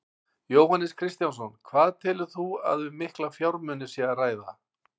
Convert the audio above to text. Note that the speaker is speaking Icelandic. Jóhannes Kristjánsson: Hvað telur þú að um mikla fjármuni sé að ræða?